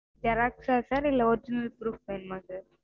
xerox sir இல்ல original proof வேணுமா sir?